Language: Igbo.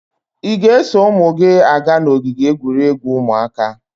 Ị ga-eso ụmụ gị aga n'ogige egwuregwu ụmụaka?